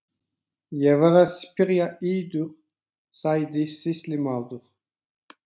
Ég var að spyrja yður, sagði sýslumaður.